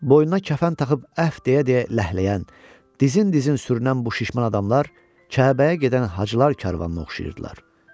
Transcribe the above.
Boynuna kəfən taxıb əhv deyə-deyə ləhləyən, dizin-dizin sürünən bu şişman adamlar Kəbəyə gedən hacılar karvanına oxşayırdılar.